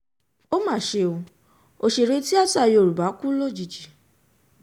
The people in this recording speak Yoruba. ó mà ṣe o òṣèré tìata yorùbá kú lójijì